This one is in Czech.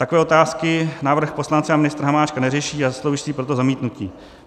Takové otázky návrh poslance a ministra Hamáčka neřeší a zaslouží si proto zamítnutí.